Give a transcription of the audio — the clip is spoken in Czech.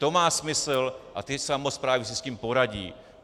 To má smysl a ty samosprávy si s tím poradí.